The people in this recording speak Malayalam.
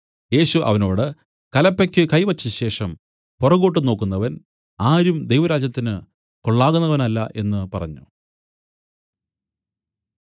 യേശു അവനോട് കലപ്പയ്ക്ക് കൈ വെച്ച ശേഷം പുറകോട്ടു നോക്കുന്നവൻ ആരും ദൈവരാജ്യത്തിന് കൊള്ളാകുന്നവനല്ല എന്നു പറഞ്ഞു